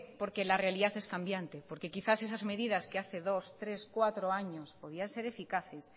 porque la realidad es cambiante porque quizás esas medidas que hace dos tres cuatros años podían ser eficaces